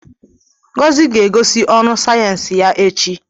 Ngozi ga-egosi ọrụ sayensị ya echi.